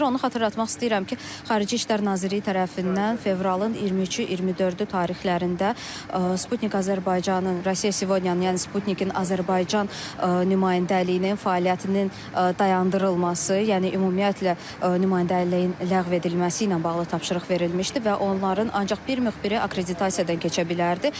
Onu xatırlatmaq istəyirəm ki, Xarici İşlər Nazirliyi tərəfindən fevralın 23-ü, 24-ü tarixlərində Sputnik Azərbaycanın, Russia Today-in, yəni Sputnik-in Azərbaycan nümayəndəliyinin fəaliyyətinin dayandırılması, yəni ümumiyyətlə nümayəndəliyin ləğv edilməsi ilə bağlı tapşırıq verilmişdi və onların ancaq bir müxbiri akkreditasiyadan keçə bilərdi.